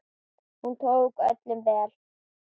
Hún tók öllum vel.